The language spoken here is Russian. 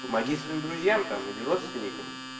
помоги своим друзьям там или родственникам